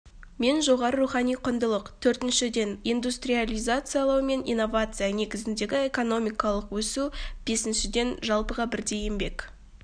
мен жоғары рухани құндылық төртіншіден индустриализациялау мен инновация негізіндегі экономикалық өсу бесіншіден жалпыға бірдей еңбек